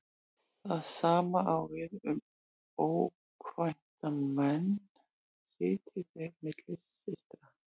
Það sama á við um ókvænta menn sitji þeir milli systra.